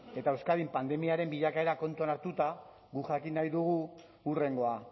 eta euskadin pandemiaren bilakaera kontuan hartuta guk jakin nahi dugu hurrengoa